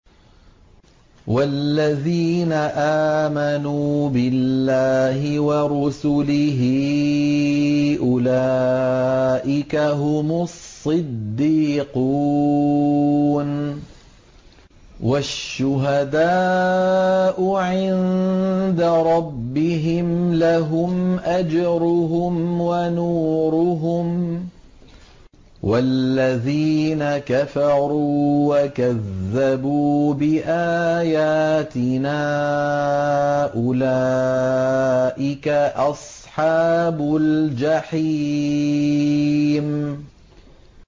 وَالَّذِينَ آمَنُوا بِاللَّهِ وَرُسُلِهِ أُولَٰئِكَ هُمُ الصِّدِّيقُونَ ۖ وَالشُّهَدَاءُ عِندَ رَبِّهِمْ لَهُمْ أَجْرُهُمْ وَنُورُهُمْ ۖ وَالَّذِينَ كَفَرُوا وَكَذَّبُوا بِآيَاتِنَا أُولَٰئِكَ أَصْحَابُ الْجَحِيمِ